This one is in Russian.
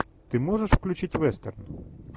ты можешь включить вестерн